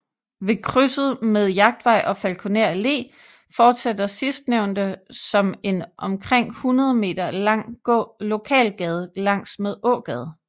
Ved krydset med Jagtvej og Falkoner Allé fortsætter sidstnævnte som en omkring hundrede meter lang lokalgade langs med Ågade